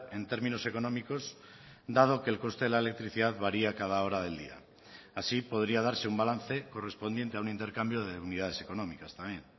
en términos económicos dado que el coste de la electricidad varía cada hora del día así podría darse un balance correspondiente a un intercambio de unidades económicas también